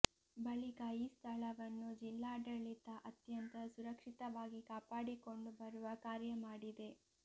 ಬಳಿಕ ಈ ಸ್ಥಳವನ್ನು ಜಿಲ್ಲಾಡಳಿತ ಅತ್ಯಂತ ಸುರಕ್ಷಿತವಾಗಿ ಕಾಪಾಡಿಕೊಂಡು ಬರುವ ಕಾರ್ಯ ಮಾಡಿದೆ